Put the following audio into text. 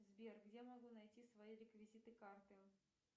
сбер где могу найти свои реквизиты карты